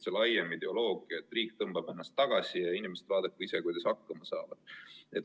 See on laiem ideoloogia, et riik tõmbab ennast tagasi ja inimesed vaadaku ise, kuidas hakkama saavad.